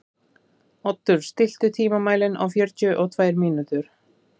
Oddur, stilltu tímamælinn á fjörutíu og tvær mínútur.